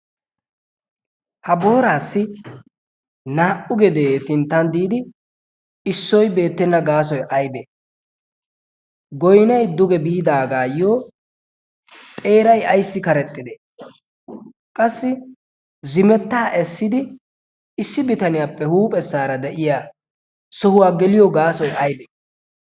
ha booraassi naa'u gedee pinttan diidi issoy beettenna gaasoy abee goynay duge biidaagaayyo xeeray ayssi karexxidee qassi zimettaa essidi issi bitaniyaappe huuphessaara de'iya sohuwaa geliyo gaasoy aybee?